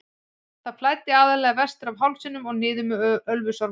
Það flæddi aðallega vestur af hálsinum og niður með Ölfusvatnsá.